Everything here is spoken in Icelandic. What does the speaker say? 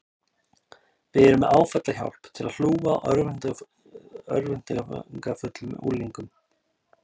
Við erum með áfallahjálp til að hlúa að örvæntingarfullum unglingum.